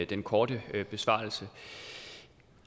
den korte besvarelse